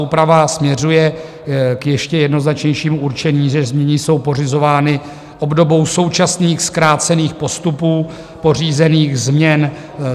Úprava směřuje k ještě jednoznačnějšímu určení, že změny jsou pořizovány obdobou současných zkrácených postupů pořízených změn.